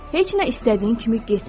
Heç nə istədiyin kimi getmir